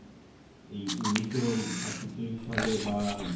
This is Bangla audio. এই উনিশশো সাতচল্লিশ সালে বা